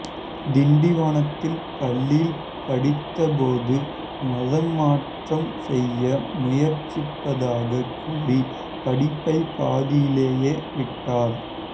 திண்டிவனத்தில் பள்ளியில் படித்தபோது மதமாற்றம் செய்ய முயற்சிப்பதாக கூறி படிப்பை பாதியிலேயே விட்டார்